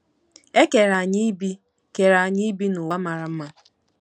E kere anyị ibi kere anyị ibi n’ụwa mara mma.